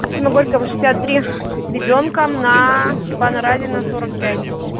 максима горького шестьдесят три с ребёнком на степана разина сорок пять